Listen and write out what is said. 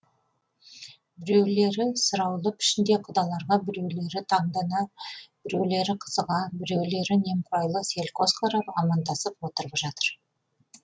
біреулері сұраулы пішінде құдаларға біреулері таңдана біреулері қызыға біреулері немқұрайлы селқос қарап амандасып отырып жатыр